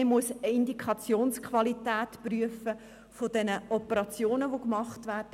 Man muss die Indikationsqualität der vorgenommenen Operationen prüfen.